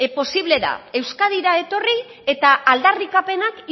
posible da euskadira etorri eta aldarrikapenak